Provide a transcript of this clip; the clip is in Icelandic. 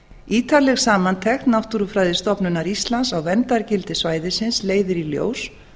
ítarleg samantekt náttúrufræðistofnunar íslands á verndargildi svæðisins leiðir í ljós